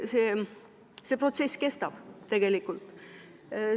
See protsess tegelikult kestab.